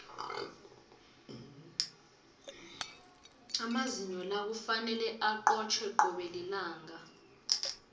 amazinyo la kufanele acotjhwe cobe lilanga